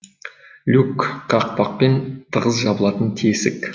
люк қақпақпен тығыз жабылатын тесік